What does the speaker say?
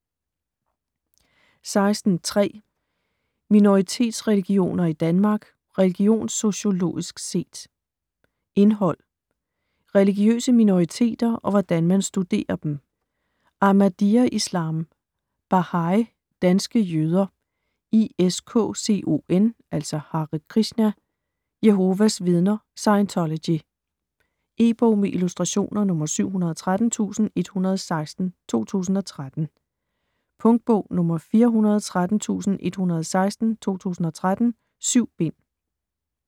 16.3 Minoritetsreligioner i Danmark: religionssociologisk set Indhold: Religiøse minoriteter og hvordan man studerer dem, Ahmadiyya-Islam, Baha'i, Danske jøder, ISKCON (Hare Krishna), Jehovas vidner, Scientology. E-bog med illustrationer 713116 2013. Punktbog 413116 2013. 7 bind.